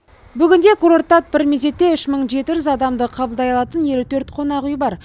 бүгінде курортта бір мезетте үш мың жеті жүз адамды қабылдай алатын елу төрт қонақүй бар